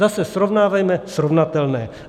Zase, srovnávejme srovnatelné.